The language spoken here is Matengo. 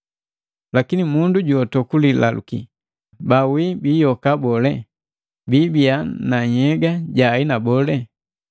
Lakini mundu juoto kulilaluki, “Bawii biyoka bole? Biibiya na nhyega ja aina bole?”